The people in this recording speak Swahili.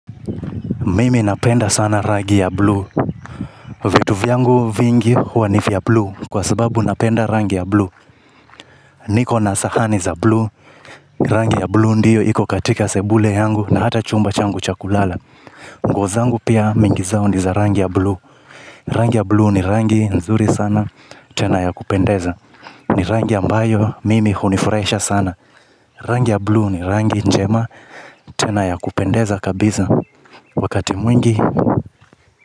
Mimi napenda sana rangi ya blue. Vitu vyangu vingi huwa nivya blue kwa sababu napenda rangi ya blue. Niko na sahani za blue. Rangi ya blue ndiyo iko katika sebule yangu na hata chumba changu chakulala. Nguo zangu pia mingi zao niza rangi ya blue. Rangi ya blue ni rangi nzuri sana tena ya kupendeza. Ni rangi ambayo mimi hunifurahisha sana. Rangi ya blue ni rangi njema tena ya kupendeza kabisa wakati mwingi.